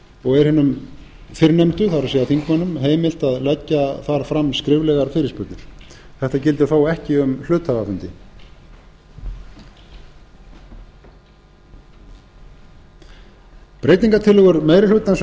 og er hinum fyrrnefndu það er þingmönnum heimilt að leggja þar fram skriflegar fyrirspurnir þetta gildir þó ekki um hluthafafundi breytingartillögur meiri hlutans